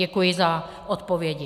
Děkuji za odpovědi.